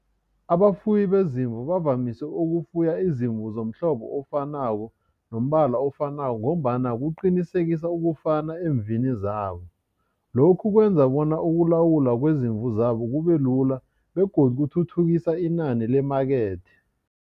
Abafuyi bezimu bavamise ukufuya izimvu somhlobo ofanako, nombala ofanako, ngombana kuqinisekisa ukufana eemvini zabo. Lokhu kwenza bona ukulawula kwezimvu zabo kubelula, begodu kuthuthukisa inani lemakethe.